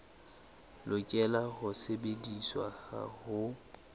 lokela ho sebediswa ha ho